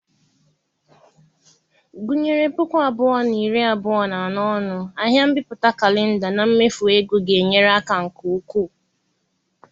Gụnyere puku abụọ na iri abụọ na anọ ọnụ ahịa mbipụta kalenda na mmefu ego ga-enyere aka nke ukwuu.